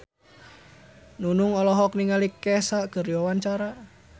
Nunung olohok ningali Kesha keur diwawancara